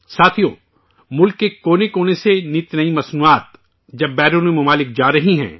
ساتھیو ، ملک کے کونے کونے سے نئی اشیاء نئی اشیا بیرونی ممالک جا رہی ہیں